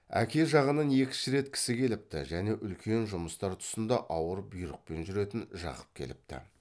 әке жағынан екінші рет кісі келіпті және үлкен жұмыстар тұсында ауыр бұйрықпен жүретін жақып келіпті